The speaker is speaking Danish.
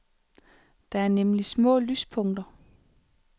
Der er nemlig små lyspunkter.